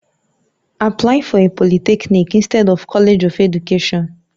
Apply for a Poluthecnic inctead of College of Education